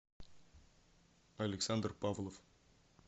александр павлов